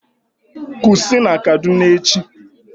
Kusi na Kaduna echi!